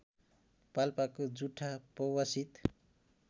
पाल्पाको जुठा पौवासित